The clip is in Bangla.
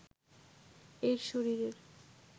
এর শরীরের